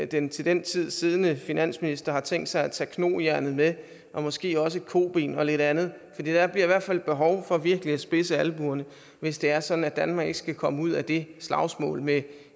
den til den tid siddende finansminister har tænkt sig at tage knojernet med og måske også et koben og lidt andet for der bliver i hvert fald behov for virkelig at spidse albuerne hvis det er sådan at danmark ikke skal komme ud af det slagsmål med